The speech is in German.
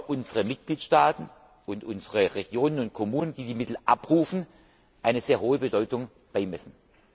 in unseren Mitgliedstaaten und unseren Regionen und Kommunen, die die Mittel abrufen, eine sehr hohe Bedeutung beimessen.